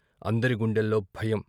అందరి గుండెల్లో భయం.